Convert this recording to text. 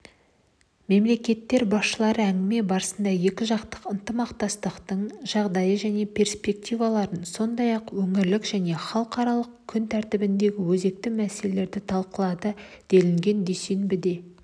мемлекеттер басшылары әңгіме барысында екіжақты ынтымақтастықтың жағдайы мен перспективаларын сондай-ақ өңірлік және халықаралық күн тәртібіндегі өзекті мәселелерді талқылады делінген дүйсенбіде